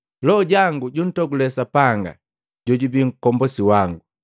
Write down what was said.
Loho jango juntogule Sapanga jojubi Nkombosi wangu.